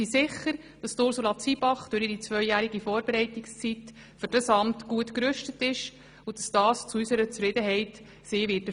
Wir sind sicher, dass Ursula Zybach durch ihre zweijährige Vorbereitungszeit für dieses Amt gut gerüstet ist, und es zu unserer Zufriedenheit erfüllen wird.